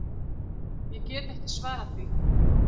Ég get ekki svarað því.